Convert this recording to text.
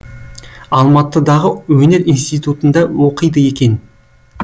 алматыдағы өнер институтында оқиды екен